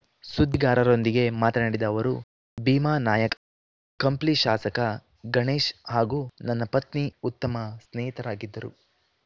ಸುದ್ದಿಗಾರರೊಂದಿಗೆ ಮಾತನಾಡಿದ ಅವರು ಭೀಮಾನಾಯ್‌್ಕ ಕಂಪ್ಲಿ ಶಾಸಕ ಗಣೇಶ್‌ ಹಾಗೂ ನನ್ನ ಪತಿ ಉತ್ತಮ ಸ್ನೇಹಿತರಾಗಿದ್ದರು